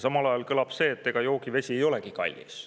" Samal ajal kõlab see jutt, et ega joogivesi ei olegi kallis.